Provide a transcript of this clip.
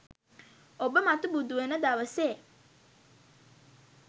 ඔබ මතු බුදු වන දවසේ